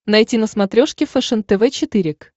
найти на смотрешке фэшен тв четыре к